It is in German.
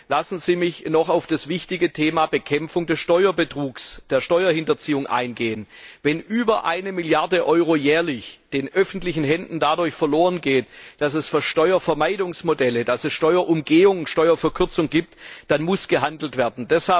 Lassen Sie mich noch auf das wichtige Thema Bekämpfung von Steuerbetrugs und Steuerhinterziehung eingehen. Wenn über eine Milliarde Euro jährlich den öffentlichen Händen dadurch verloren geht, dass es Steuervermeidungsmodelle, dass es Steuerumgehung, Steuerverkürzung gibt, dann muss gehandelt werden.